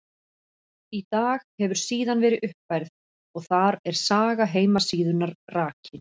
Í dag hefur síðan verið uppfærð og þar er saga heimasíðunnar rakin.